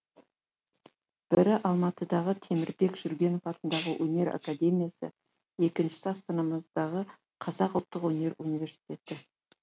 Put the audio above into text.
бірі алматыдағы темірбек жүргенов атындағы өнер академиясы екіншісі астанамыздағы қазақ ұлттық өнер университеті